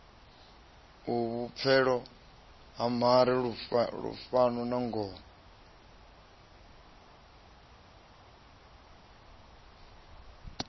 vhupfelo ha mare lufuno nangoho